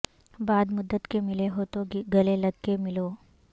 بعد مدت کے ملے ہو تو گلے لگ کے ملو